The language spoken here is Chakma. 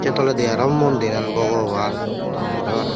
toledi aro mondiran bogoban dor gorey para.